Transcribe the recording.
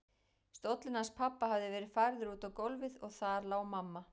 Stóllinn hans pabba hafði verið færður út á gólfið og þar lá mamma.